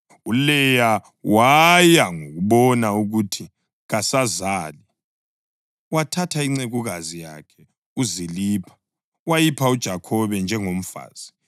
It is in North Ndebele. ULeya wathi ngokubona ukuthi kasazali wathatha incekukazi yakhe uZilipha wayipha uJakhobe njengomfazi.